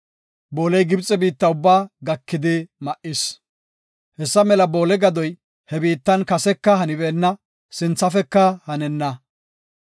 Booley Gibxe biitta ubbaa gakidi ma7is. Hessa mela boole gadoy he biittan kaseka hanibeenna; sinthafeka hanenna.